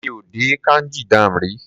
Mi ò dé Kanji dam rí.